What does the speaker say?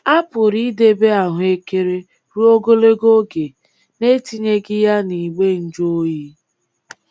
A pụrụ idebe ahụekere ruo ogologo oge n’etinyeghị ya n'igbe njụoyi.